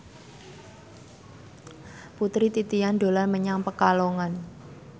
Putri Titian dolan menyang Pekalongan